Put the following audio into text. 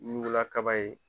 Ɲugula kaba ye